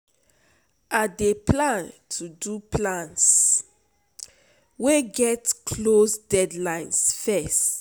I dey plan to do plans wey get close deadlines first.